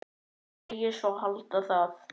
Segist svo halda það.